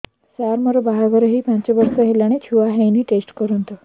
ସାର ମୋର ବାହାଘର ହେଇ ପାଞ୍ଚ ବର୍ଷ ହେଲାନି ଛୁଆ ହେଇନି ଟେଷ୍ଟ କରନ୍ତୁ